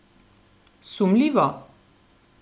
Sumljivo?